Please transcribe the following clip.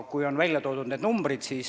On välja toodud need numbrid.